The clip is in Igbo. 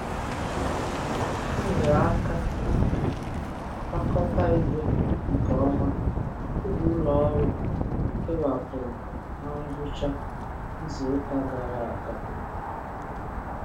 Ha nyeere aka kwakọta igbe nke ọma oge ụlọọrụ kewapụrụ na ngwụcha izuụka gara aga.